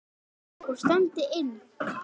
Og stefndi inn